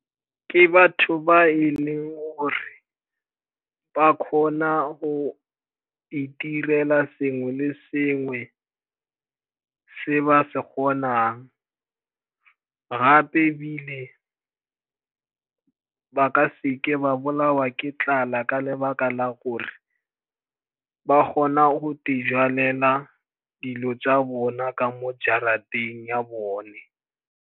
Ke batho ba e leng gore ba kgona go itirela sengwe le sengwe se ba se kgonang, gape ebile ba ka seke ba bolawa ke tlala ka lebaka la gore ba kgona go di jalela dilo tsa bona ka mo jarateng ya bone.